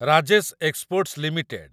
Rajesh exports limited